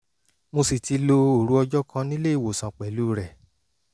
mo sì ti lo òru ọjọ́ kan nílé-ìwòsàn pẹ̀lú rẹ̀